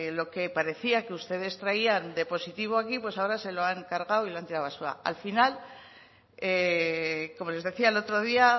lo que parecía que ustedes traían de positivo aquí pues ahora se lo han cargado y lo han tirado a la basura al final como les decía el otro día